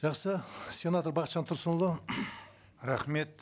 жақсы сенатор бақытжан тұрсынұлы рахмет